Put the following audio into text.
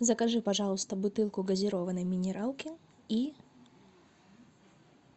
закажи пожалуйста бутылку газированной минералки и